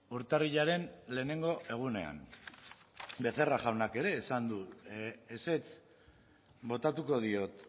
urtarrilaren lehenengo egunean becerra jaunak ere esan du ezetz botatuko diot